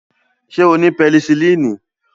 Ṣé ó ni pẹnisilini?